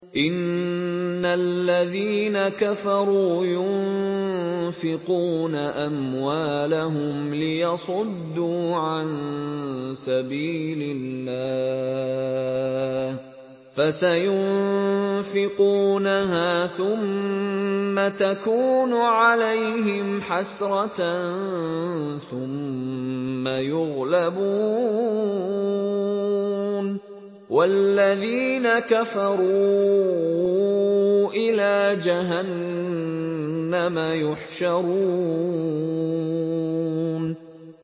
إِنَّ الَّذِينَ كَفَرُوا يُنفِقُونَ أَمْوَالَهُمْ لِيَصُدُّوا عَن سَبِيلِ اللَّهِ ۚ فَسَيُنفِقُونَهَا ثُمَّ تَكُونُ عَلَيْهِمْ حَسْرَةً ثُمَّ يُغْلَبُونَ ۗ وَالَّذِينَ كَفَرُوا إِلَىٰ جَهَنَّمَ يُحْشَرُونَ